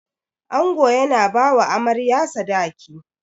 Ango yana bawa Amarya Sadaki.